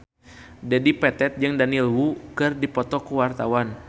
Dedi Petet jeung Daniel Wu keur dipoto ku wartawan